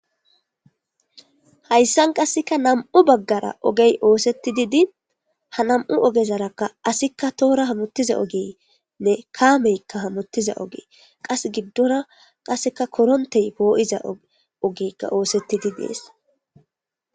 Hayssan qasseka nam'u baggara ogey oosettididi ha nam'u ogezarakka asikka toora hamottiza ogeenne kaameykka hanottiza ogee qas giddora qasseka korontey poo'iza ogeykka oosettidi dees.